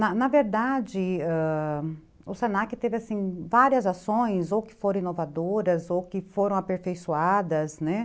Na na verdade, o se na que teve várias ações, ou que foram inovadoras, ou que foram aperfeiçoadas, né